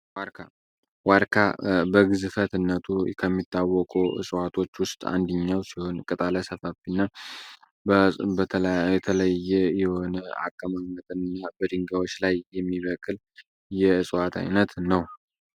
ዋርካ በግዝፈትነቱ ከሚታወቁ እፅዋቶች ውስጥ አንድኛው ሲሆን ቅጣለ ሰፋፊ ና የተለየ የሆነ አቀማመጥ እና በድንጋዮች ላይ የሚበቅል የዕፅዋት ዓይነት ነው።